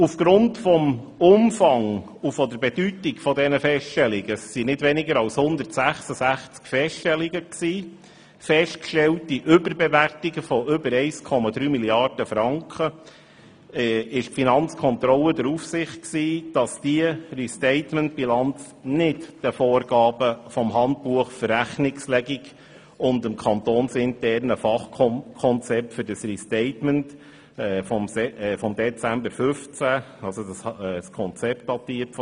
Aufgrund des Umfangs und der Bedeutung der Feststellungen – es waren nicht weniger als166 Feststellungen mit einer festgestellten Überbewertung von ca. 1,3 Mrd. Franken – war die Finanzkontrolle der Ansicht, dass diese Restatementbilanz nicht den Vorgaben des Handbuchs für Rechnungslegung und dem kantonsinternen Fachkonzept für das Restatement von Dezember 2015 entsprach.